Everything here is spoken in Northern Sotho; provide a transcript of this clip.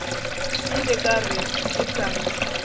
ile ka re ke sa